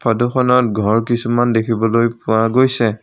ফটোখনত ঘৰ কিছুমান দেখিবলৈ পোৱা গৈছে।